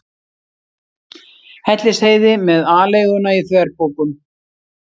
Hellisheiði með aleiguna í þverpokum.